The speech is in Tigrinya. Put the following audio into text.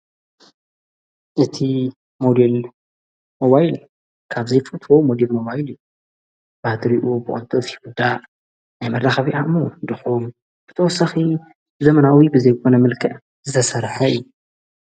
እቲ ሞድል ዋይል ካብዘይ ፉትዎ ሞዲል ሞዋይልዩ ባድሪኡ ብዖንቶፍ ኹዳ ኣይመላኻቢዓዕሞ ድኾም ብተወሳኺ ዘመናዊ ብዘይጐነ ምልክ ዘሠርሐይ አዩ ::